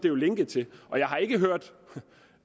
er linket til det og jeg har ikke hørt